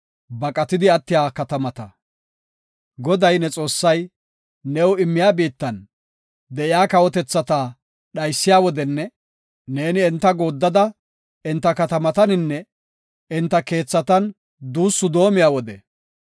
Goday, ne Xoossay new immiya biittan de7iya kawotethata dhaysiya wodenne ne enta gooddada, enta katamataninne enta keethatan duussu doomiya wode,